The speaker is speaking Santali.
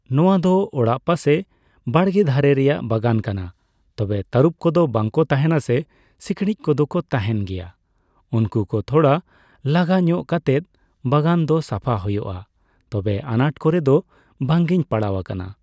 ᱱᱚᱣᱟ ᱫᱚ ᱚᱲᱟᱜ ᱯᱟᱥᱮ ᱵᱟᱲᱜᱮ ᱫᱷᱟᱨᱮ ᱨᱮᱭᱟᱜ ᱵᱟᱜᱟᱱ ᱠᱟᱱᱟ ᱛᱚᱵᱮ ᱛᱟᱨᱩᱵ ᱠᱚᱫᱚ ᱵᱟᱠᱚ ᱛᱟᱦᱮᱱᱟ ᱥᱮ ᱥᱤᱸᱠᱲᱤᱡ ᱠᱚᱫᱚ ᱠᱚ ᱛᱟᱦᱮᱱ ᱜᱮᱭᱟ ᱩᱝᱠᱩ ᱠᱚ ᱛᱷᱚᱲᱟ ᱞᱟᱜᱟ ᱧᱚᱜ ᱠᱟᱛᱮᱫ ᱵᱟᱜᱟᱱ ᱫᱚ ᱥᱟᱯᱷᱟ ᱦᱳᱭᱳᱜᱼᱟ, ᱛᱚᱵᱮ ᱟᱱᱟᱴ ᱠᱚᱨᱮ ᱫᱚ ᱵᱟᱝᱤᱧ ᱯᱟᱲᱟᱣ ᱟᱠᱟᱱᱟ ᱾